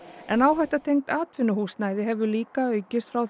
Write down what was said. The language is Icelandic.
en áhætta tengd atvinnuhúsnæði hefur líka aukist frá